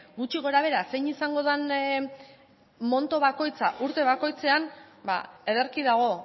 gutxi gora behera zein izango den monto bakoitza urte bakoitzean ba ederki dago